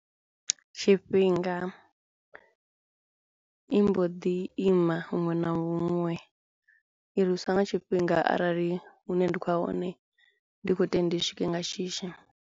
Tshifhinga i mbo ḓi ima huṅwe na huṅwe i nga tshifhinga arali hune ndi khou ya hone ndi khou swike nga shishi.